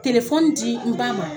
d'i ba ma